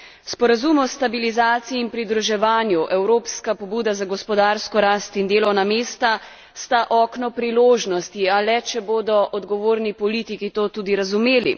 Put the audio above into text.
Sporazum o stabilizaciji in pridruževanju, evropska pobuda za gospodarsko rast in delovna mesta sta okno priložnosti, a le če bodo odgovorni politiki to tudi razumeli.